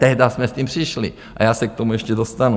Tehdy jsme s tím přišli - a já se k tomu ještě dostanu.